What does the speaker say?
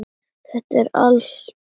Þetta er allt eins.